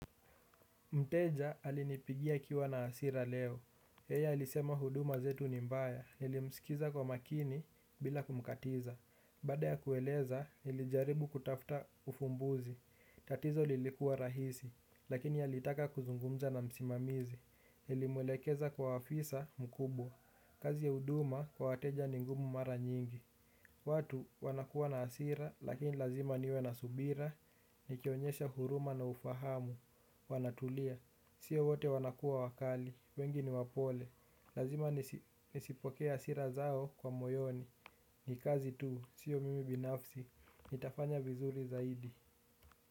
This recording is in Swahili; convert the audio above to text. Mteja alinipigia akiwa na asira leo. Yeye ilisema huduma zetu ni mbaya. Nilimsikiza kwa makini bila kumkatiza. Baada ya kueleza, nilijaribu kutafta ufumbuzi. Tatizo lilikuwa rahisi, lakini ya litaka kuzungumza na msimamizi. Nilimwelekeza kwa afisa mkubwa. Kazi ya huduma kwa wateja ni ngumu mara nyingi. Watu wanakuwa na hasira, lakini lazima niwe na subira. Nikionyesha huruma na ufahamu. Wanatulia sio wote wanakuwakali wengi niwapole lazima nisipokee hasira zao kwa moyoni. Ni kazi tu, siyo mimi binafsi. Nitafanya vizuri zaidi.